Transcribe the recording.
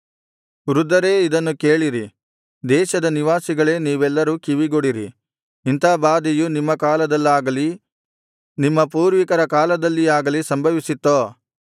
ವೃದ್ಧರೇ ಇದನ್ನು ಕೇಳಿರಿ ದೇಶದ ನಿವಾಸಿಗಳೇ ನೀವೆಲ್ಲರೂ ಕಿವಿಗೊಡಿರಿ ಇಂಥ ಬಾಧೆಯು ನಿಮ್ಮ ಕಾಲದಲ್ಲಾಗಲಿ ನಿಮ್ಮ ಪೂರ್ವಿಕರ ಕಾಲದಲ್ಲಿಯಾಗಲಿ ಸಂಭವಿಸಿತ್ತೋ